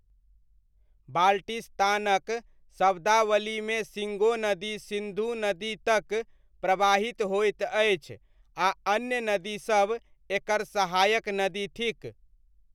बाल्टिस्तानक शब्दावलीमे शिङ्गो नदी सिन्धु नदी तक प्रवाहित होइत अछि आ अन्य नदीसब एकर सहायक नदी थिक।